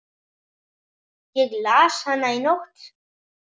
Ég las hana í nótt.